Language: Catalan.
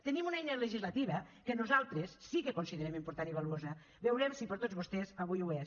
tenim una eina legislativa que nosaltres sí que considerem important i valuosa veurem si per a tots vostès avui ho és